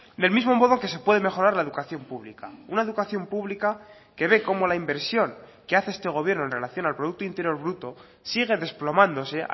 del mismo modo que se puede mejorar la educación pública una educación pública que ve como la inversión que hace este gobierno en relación al producto interior bruto sigue desplomándose